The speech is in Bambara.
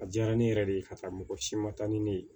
A diyara ne yɛrɛ de ye ka taa mɔgɔ si ma taa ni ne ye